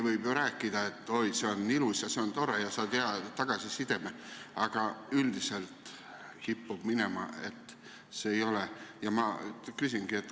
Võib ju rääkida, et oi, see on ilus, see on tore ja saad hea tagasiside, aga üldiselt kipub minema sedasi, et see nii ei ole.